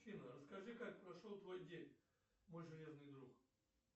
афина расскажи как прошел твой день мой железный друг